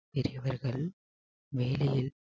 பெரியவர்கள் வேலையில்